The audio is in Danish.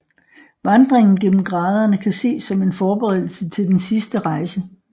Vandringen gennem graderne kan ses som en forberedelse til den sidste rejse